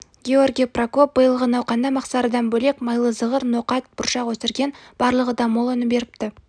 георгий прокоп биылғы науқанда мақсарыдан бөлек майлы зығыр ноқат бұршақ өсірген барлығы да мол өнім беріпті